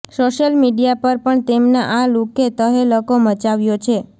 social media પર પણ તેમના આ લુકે તહેલકો મચાવ્યો છે